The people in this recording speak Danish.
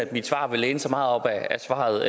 mit svar vil læne sig meget op af svaret